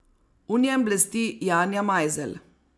V njem blesti Janja Majzelj.